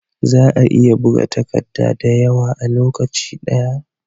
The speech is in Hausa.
Za'a iya buga takadda da yawa a lokacin daya